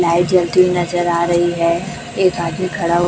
light जलती हुई नजर आ रही है एक आदमी खड़ा हु--